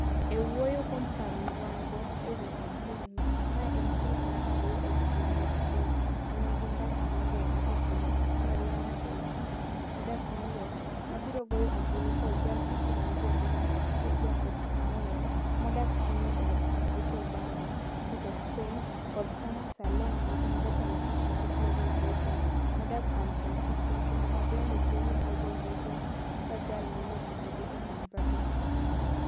E wuoyo kuom paro ma wan-go e wi kampen, mae en sula mar ariyo e kidieny mar adek, ma nigi mbaka moriere e kind: Marianna Breytman, modak New York, ma biro goyo ombulu kod Jal Mochung' ne Jo-Lingue, Georgia Popplewell, modak Trinidad gi Tobago, Port of Spain, kod Sana Saleem, ma en Jatend Tich mar Global Voices, modak San Francisco kendo ma bende tiyo gi Global Voices kaka Jal Moloso Buge e piny Pakistan.